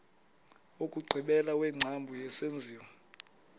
wokugqibela wengcambu yesenziwa